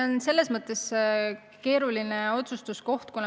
Aga see on keerulise otsustamise koht.